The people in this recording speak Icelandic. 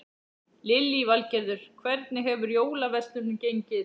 Lillý Valgerður: Hvernig hefur jólaverslunin gengið?